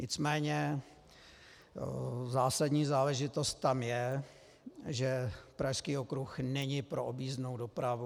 Nicméně zásadní záležitost tam je, že Pražský okruh není pro objízdnou dopravu.